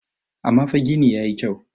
amma fa gini ya yi kyau